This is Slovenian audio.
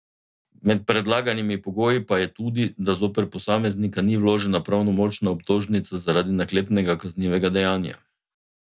Med predlaganimi pogoji pa je tudi, da zoper posameznika ni vložena pravnomočna obtožnica zaradi naklepnega kaznivega dejanja.